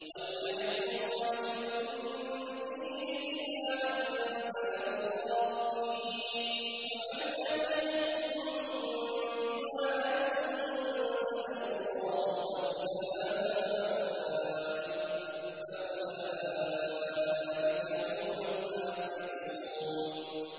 وَلْيَحْكُمْ أَهْلُ الْإِنجِيلِ بِمَا أَنزَلَ اللَّهُ فِيهِ ۚ وَمَن لَّمْ يَحْكُم بِمَا أَنزَلَ اللَّهُ فَأُولَٰئِكَ هُمُ الْفَاسِقُونَ